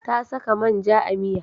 Ta saka man ja a miya.